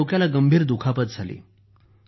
त्यांच्या डोक्याला गंभीर दुखापत झाली